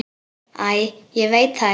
Æ, ég veit það ekki.